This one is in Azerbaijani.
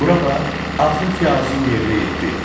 Bura bax, axır ki, arzum yerinə yetdi.